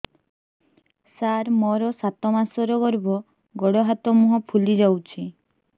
ସାର ମୋର ସାତ ମାସର ଗର୍ଭ ଗୋଡ଼ ହାତ ମୁହଁ ଫୁଲି ଯାଉଛି